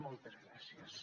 moltes gràcies